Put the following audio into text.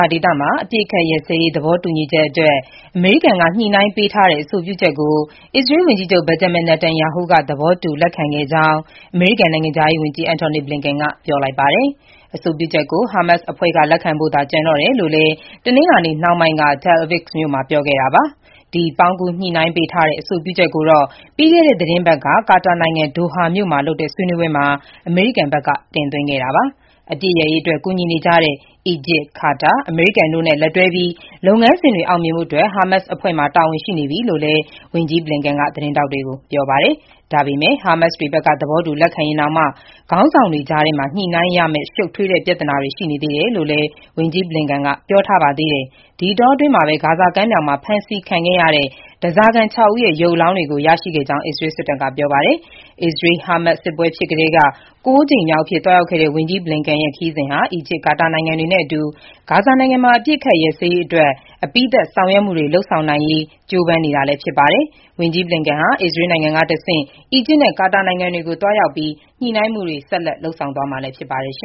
ါဇာဒေသ အပစ်ရပ်စဲရေး သဘောတူညီချက်အတွက် အမေရိကန်က ညှိနှိုင်းပေးထားတဲ့အဆိုပြုချက်ကို အစ္စရေးဝန်ကြီးချုပ် Benjamin Netanyahu က သဘောတူ လက်ခံခဲ့ကြောင်း အမေရိကန် နိုင်ငံခြားရေးဝန်ကြီး Antony Blinken ကပြောလိုက်ပါတယ်။ အဆိုပြုချက်ကို ဟားမတ်စ်အဖွဲ့က လက်ခံဖို့ပဲ ကျန်တယ်လို့လည်း တနင်္လာနေ့နှောင်းပိုင်းက Tel Aviv မြို့မှာ ဝန်ကြီး Blinken ကပြောပါတယ်။ ပေါင်းကူးညှိနှိုင်းပေးထားတဲ့ အဆိုပြုချက်ကိုတော့ ပြီးခဲ့တဲ့ သီတင်းပတ်က ကာတာနိုင်ငံ ဒိုဟာမြို့မှာလုပ်တဲ့ ဆွေးနွေးပွဲမှာ အမေရိကန်ဘက်က တင်သွင်းခဲ့တာပါ။ အပစ်ရပ်ရေး ကူညီနေကြတဲ့ အီဂျစ်၊ ကာတာ၊ အမေရိကန်တို့နဲ့ လက်တွဲပြီး လုပ်ငန်းစဉ်တွေ အောင်မြင်ဖို့အတွက် ဟာမတ်စ်အဖွဲ့မှာ တာဝန်ရှိနေပြီလို့လည်း ဝန်ကြီး Blinken က ပြောပါတယ်။ ဟာမတ်စ်တွေဘက်က သဘောတူ လက်ခံရင်တောင်မှ ခေါင်းဆောင်တွေကြားထဲမှာ ညှိနှိုင်းရမယ့် ရှုပ်ထွေးတဲ့ပြဿနာတွေ ရှိနေသေးတယ်လို့လည်း ဝန်ကြီး Blinken က ပြောပါတယ်။ ဒီအတောအတွင်းမှာပဲ ဂါဇာကမ်းမြောင်မှာ ဖမ်းဆီးခံခဲ့ရတဲ့ ဓားစာခံ ၆ ဦးရဲ့ ရုပ်အလောင်းတွေကို ရရှိခဲ့ကြောင်း အစ္စရေး စစ်တပ်က ပြောပါတယ်။ အစ္စရေး-ဟာမတ်စ်စစ်ပွဲ စကတည်းက ၉ ကြိမ်မြောက်အဖြစ်သွားရောက်တဲ့ ဝန်ကြီး Blinken ရဲ့ ခရီးစဉ်ဟာ အီဂျစ်၊ ကာတာနိုင်ငံတွေနဲ့အတူ ဂါဇာမှာ အပစ်ရပ်စဲရေး အပြီးသတ် ဆောင်ရွက်မှုတွေ လုပ်ဆောင်နိုင်ဖို့ ကြိုးပမ်းနေချိန်လည်း ဖြစ်ပါတယ်။ ဝန်ကြီး Blinken ဟာ အစ္စရေးနိုင်ငံကတဆင့် အီဂျစ်နဲ့ ကာတာနိုင်ငံတွေကိုသွားရောက်ပြီး ညှိနှိုင်းမှုတွေ ဆက်လက်လုပ်ဆောင်မှာဖြစ်ပါတယ်။